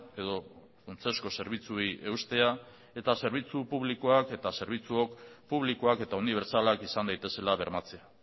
edo funtsezko zerbitzuei eustea eta zerbitzu publikoak eta zerbitzuok publikoak eta unibertsalak izan daitezela bermatzea